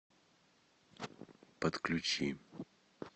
подключи